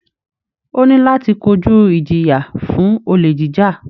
Ó ní láti kojú ìjìyà fún olè jíjà